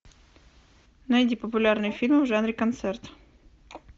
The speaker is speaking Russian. найди популярные фильмы в жанре концерт